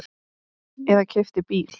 Eða keypti bíl.